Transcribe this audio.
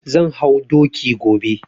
Zan hau doki gobe.